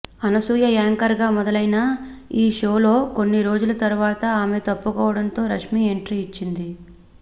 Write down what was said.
Anasuya anchor గా మొదలైన ఈ షో లో కొన్ని రోజుల తరువాత ఆమె తప్పుకోవడంతో రష్మీ ఎంట్రీ ఇచ్చింది